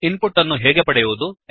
ಇನ್ ಪುಟ್ ಅನ್ನು ಹೇಗೆ ಪಡೆಯುವುದು